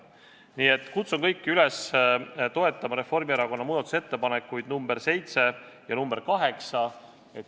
Nii et kutsun kõiki üles toetama Reformierakonna muudatusettepanekuid nr 7 ja nr 8.